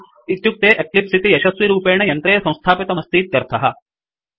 इत्युक्ते एक्लिप्स इति यशस्विरूपेण यन्त्रे संस्थापितमस्तीत्यर्थः